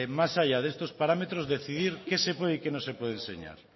más allá de estos parámetros decidir qué se puede y qué no se puede enseñar